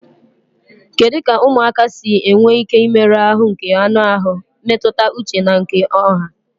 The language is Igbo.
Kedu ka ụmụaka si enwe ike imerụ ahụ nke anụ ahụ, mmetụta uche na nke ọha?